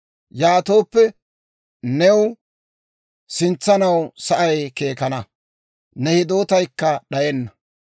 Yaatooppe new sintsanaw sa'ay keekkana; ne hidootaykka d'ayenna.